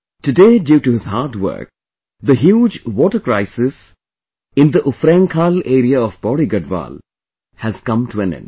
Today, due to his hard work, the huge water crisis in the Ufrainkhal area of Pauri Garhwal has come to an end